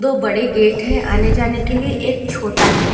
खूब बड़े गेट हैं आने जाने के लिए एक छोटा गेट --